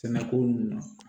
Sɛnɛko nunnu na